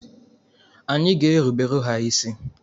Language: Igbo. Anyị ga-erubere ha isi.